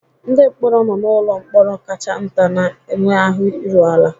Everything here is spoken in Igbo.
Ndị mkpọrọ nọ n'ụlọ mkpọrọ kacha nta na-enwe ahụ iru ala.